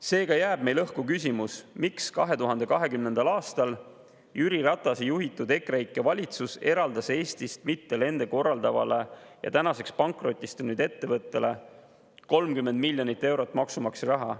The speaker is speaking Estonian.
Seega jääb meil õhku küsimus, miks 2020. aastal Jüri Ratase juhitud EKREIKE valitsus eraldas Eestist mitte lende korraldavale ja tänaseks pankrotistunud ettevõttele 30 miljonit eurot maksumaksja raha.